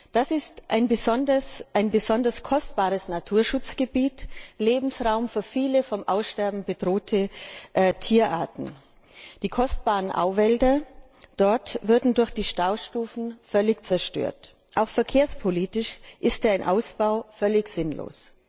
Das ist ein besonders kostbares Naturschutzgebiet Lebensraum für viele vom Aussterben bedrohte Tierarten. Die kostbaren Auwälder dort würden durch die Staustufen völlig zerstört. Auch verkehrspolitisch ist ein Ausbau völlig sinnlos.